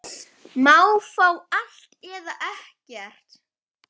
Má fá allt, eða ekkert.